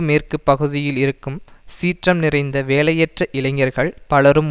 மேற்கு பகுதியில் இருக்கும் சீற்றம் நிறைந்த வேலையற்ற இளைஞர்கள் பலரும்